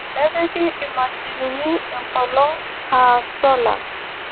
Nepiki imachinini enkolong' aa sola